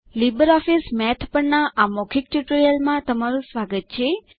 LibreOffice Math પરના આ મૌખિક ટ્યુટોરીયલમાં તમારું સ્વાગત છે